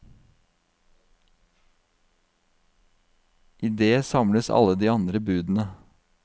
I det samles alle de andre budene.